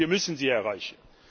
Und wir müssen sie erreichen!